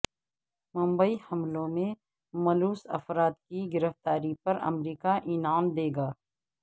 ممبئی حملوں میں ملوث افراد کی گرفتاری پر امریکا انعام دیگا